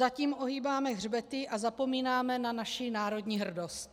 Zatím ohýbáme hřbety a zapomínáme na naši národní hrdost.